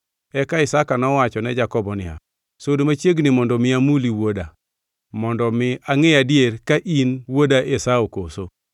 Eka Isaka nowacho ne Jakobo niya, “Sud machiegni mondo mi amuli, wuoda, mondo mi angʼe adier ka in wuoda Esau koso.”